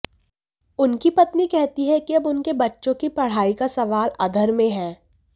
उनकी पत्नी कहती हैं कि अब उनके बच्चों की पढ़ाई का सवाल अधर में है